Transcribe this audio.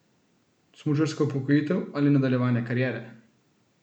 Smučarska upokojitev ali nadaljevanje kariere?